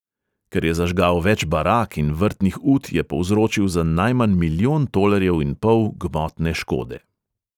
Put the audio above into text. Ker je zažgal več barak in vrtnih ut, je povzročil za najmanj milijon tolarjev in pol gmotne škode.